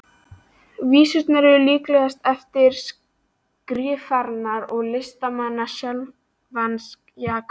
Vísurnar eru líklega eftir skrifarann og listamanninn sjálfan, Jakob